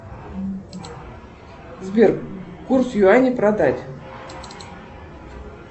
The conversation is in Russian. сбер курс юаней продать